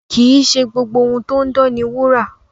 Kì í ṣe gbogbo ohun tó ń dán ni wúrà.